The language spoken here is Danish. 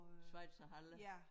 Schweizerhalle